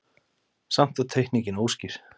Samt var teikningin óskýr.